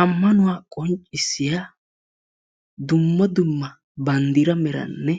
Amanuwaa qonccissiya dumma dumma banddira meranne